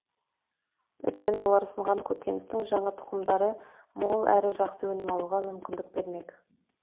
өйткені олар ұсынған көкөністің жаңа тұқымдары мол әрі жақсы өнім алуға мүмкіндік бермек